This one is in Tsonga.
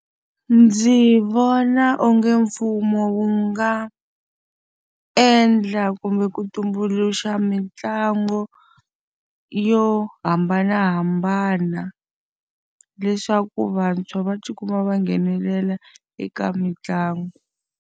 Ndzi vona onge mfumo wu nga endla kumbe ku tumbuluxa mitlangu yo hambanahambana, leswaku vantshwa va ti kuma va nghenelela eka mitlangu.